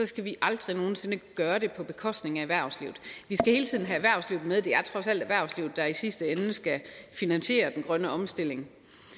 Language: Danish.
skal vi aldrig nogen sinde gøre det på bekostning af erhvervslivet med det er trods alt erhvervslivet der i sidste ende skal finansiere den grønne omstilling